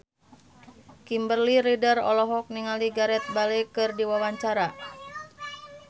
Kimberly Ryder olohok ningali Gareth Bale keur diwawancara